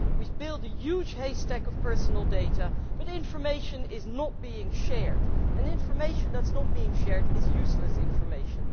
We build a huge haystack of personal data but information is not being shared and information that is not being shared is useless information.